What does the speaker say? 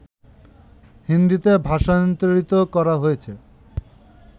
হিন্দীতে ভাষান্তরিত করা হয়েছে